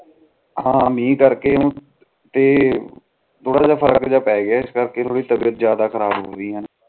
ਹਾਂ ਮਿਹ ਕਰਕੇ ਤੇ ਥੋੜਾ ਜਾ ਫਰਕ ਜਾ ਪੈ ਗਿਆ ਇਸ ਕਰਕ ਥੋੜੀ ਤਬੀਯਤ ਜਾਂਦਾ ਖਰਾਬ ਹੋਗੀ